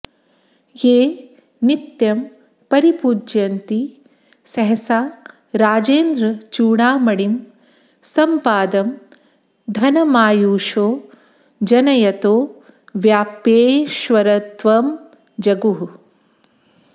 ये नित्यं परिपूजयन्ति सहसा राजेन्द्रचूडामणिं सम्पादं धनमायुषो जनयतो व्याप्येश्वरत्वं जगुः